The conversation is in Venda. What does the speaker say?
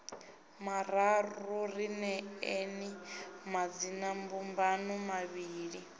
mararu ri neeni madzinambumbano mavhili